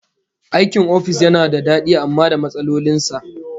Aikin ofis yana da dadi amma da matsalolin sa